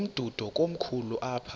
umdudo komkhulu apha